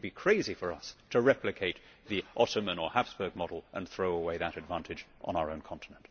It would be crazy for us to replicate the Ottoman or Habsburg model and throw away that advantage on our own continent.